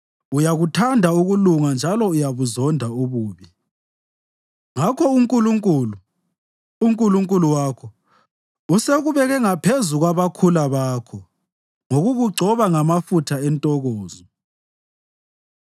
Uyakuthanda ukulunga njalo uyabuzonda ububi; ngakho uNkulunkulu, uNkulunkulu wakho usekubeke ngaphezu kwabakhula bakho ngokukugcoba ngamafutha entokozo.